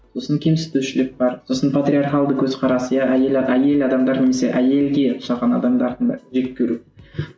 сосын кемсітушілік бар сосын патриархалды көзқарас иә әйел әйел адамдар немесе әйелге ұқсаған адамдардың бәрін жек көру